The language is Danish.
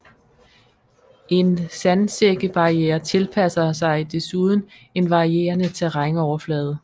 En sandsækkebarriere tilpasser sig desuden en varierende terrænoverflade